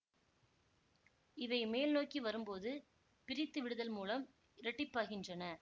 இவை மேல்நோக்கி வரும்போது பிரித்துவிடுதல் மூலம் இரட்டிப்பாகின்றன